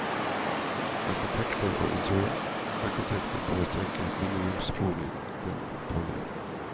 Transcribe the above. Arkitekter og interiørarkitekter bør tenke minimumsboligen på ny.